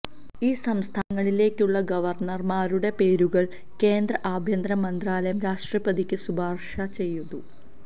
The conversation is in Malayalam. ഈ സംസ്ഥാനങ്ങളിലേക്കുള്ള ഗവര്ണര്മാരുടെ പേരുകള് കേന്ദ്ര ആഭ്യന്തര മന്ത്രാലയം രാഷ്ട്രപതിക്ക് ശിപാര്ശ ചെയ്തു